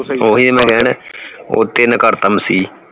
ਓਹੀ ਕੱਮ ਸੀ